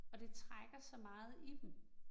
Og det trækker så meget i dem